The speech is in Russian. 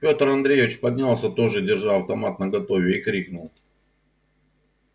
пётр андреевич поднялся тоже держа автомат наготове и крикнул